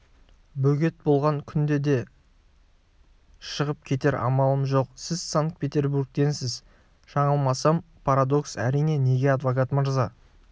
бөгет болған күнде де шығып кетер амалым жоқ сіз санкт-петербургтенсіз жаңылмасам парадокс әрине неге адвокат мырза